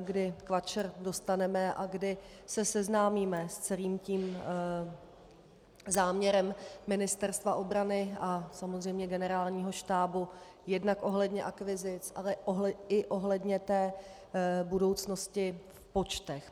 kdy KVAČR dostaneme a kdy se seznámíme s celým tím záměrem Ministerstva obrany a samozřejmě Generálního štábu jednak ohledně akvizic, ale i ohledně té budoucnosti v počtech.